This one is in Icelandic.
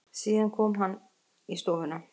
Síðan kom hann í stofuna.